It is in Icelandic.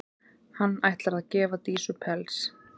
Hann ætlar að gefa Dísu pels.